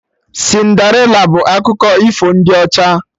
Cinderịla bụ akụkọ ifo ndị ọcha